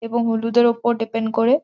এবং হলুদের ওপর ডিপেন্ড করে।